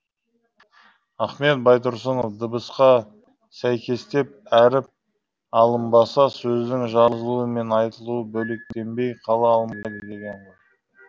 ахмет байтұрсынов дыбысқа сәйкестеп әріп алынбаса сөздің жазылуы мен айтылуы бөлектенбей қала алмайды деген ғой